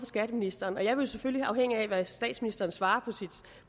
skatteministeren og jeg vil jo selvfølgelig afhængig af hvad statsministeren svarer